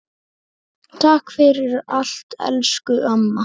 Takk fyrir allt elsku amma.